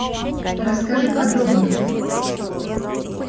расскажи подробнее